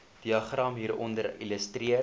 diagram hieronder illustreer